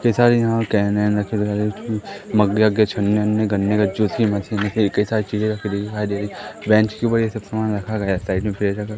कई सारे यहाँ कॅन वॅन रखें मग्गे वग्गे छन्ने गन्ने का जूस की मशीन हैं कई कई सारे चीजें बेंच के ऊपर ये सब सामान रखा गया हैं साइड में है--